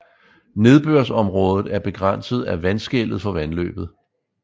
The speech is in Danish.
Nedbørsområdet er begrænset af vandskellet for vandløbet